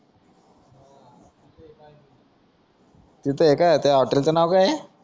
तिथे आए का त्या हॉटेलच नाव काय हे